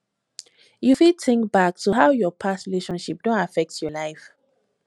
you fit think back to how your past relationship don affect your life